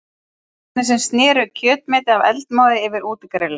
Kokkarnir sem sneru kjötmeti af eldmóði yfir útigrillinu.